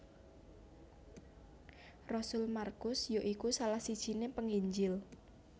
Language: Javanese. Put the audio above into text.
Rasul Markus ya iku salah sijiné Penginjil